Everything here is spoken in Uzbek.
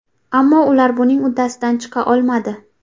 Ammo ular buning uddasidan chiqa olmadi.